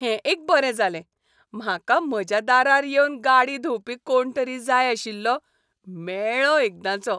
हें एक बरें जालें! म्हाका म्हज्या दारार येवन गाडी धुंवपी कोण तरी जाय आशिल्लो, मेळ्ळो एकदांचो.